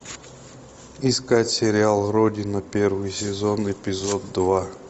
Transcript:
искать сериал родина первый сезон эпизод два